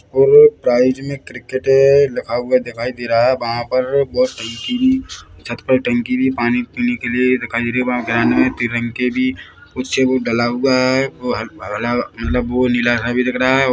ए प्रयोजनिक क्रिकेट लिखा हुआ दिखाई दे रहा है वहाँ पर बहोत टंकी छत पर टंकी भी पानी पीने के लिए दिखाई दे रही है वहाँ ग्राउंड में पीले रंग के भी कुछ एगो डाला हुआ है वो अला अलग मतलब वो नीला सा भी दिख रहा है।